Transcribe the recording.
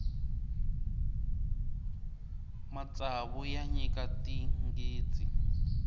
matsavu ya nyika tinghitsi